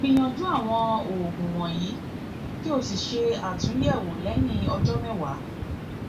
gbìyànjú àwọn òògùn wọnyí kí o sì ṣe àtúnyẹwò lẹyìn ọjọ mẹwàá